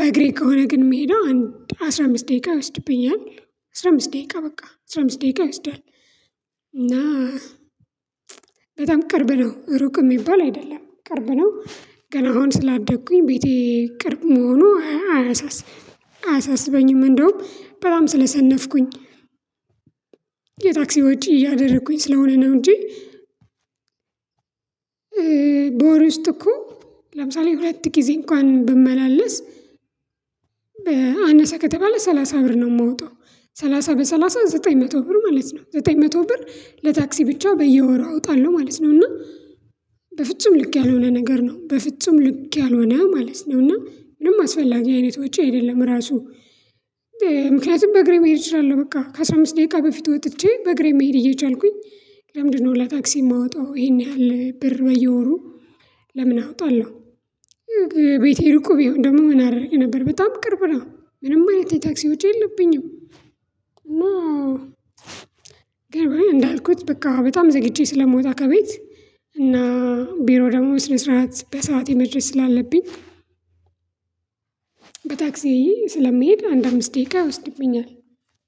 በግሬት ከሆነ ግን የምሄደው አምድ አስራ አምስት ደቂቃ ይወስድብኛል። አስራ አምስት ደቂቃ በቃ አስራ አምስት ደቂቃ ይወስዳል። እና በጣም ቅርብ ነው ሩቅ የሚባል አይደለም ቅርብ ነው። ገና አሁን ስላደኩኝ ቤቴ ቅርብ መሆኑ አያሳስበኝም እንደውም በጣም ስለሰነፍኩኝ የታክሲዎች እያደረኩኝ ስለሆነ ነው። እንጂ በወር ውስጥ እኮ ለምሳሌ ሁለት ጊዜ እንኳን ብመላለስ አነሰ ከተባለ ሰላሳ ብር ነው የምወጣው። ሰላሳ በሰላሳ ዘጠኝ መቶ ብር ማለት ነው ዘጠኝ መቶ ብር ለታክሲ ብቻ በየወሩ አውጣለሁ ማለት ነው። እና በፍጹም ልክ ያልሆነ ነገር ነው በፍጹም ልክ ያልሆነ ማለት ነው እና ምንም አስፈላጊ አይነቶች አይደለም ራሱ። ምክንያቱም በእግሬ መሄድ እችላለሁ በቃ ከአሥራ አምስት ደቂቃ በፊት ወጥቼ በእግሬ መሄድ እየቻልኩኝ። ለምንድነው ለታክሲ የማወጣው ይሄን ያህል ብር በየወሩ ለምን አወጣለሁ? ቤቴ ርቁ ቢሆን ደግሞ ምን አደርግ ነበር በጣም ቅርብ ነው ምንም አይነት የታክሲ ውጪ የለብኝም። ግን እንዳልኩት በቃ በጣም ዘግቼ ስለምወጣ ከቤት እና ቢሮ ደግሞ ስነ ስርዓት በሰአቴ መድረስ ስላለብኝ። በታክሲዬ ስለምሄድ አንድ አምስት ደቂቃ ይወስድብኛል።